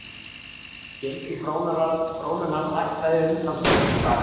Gengi krónunnar lækkaði umtalsvert í dag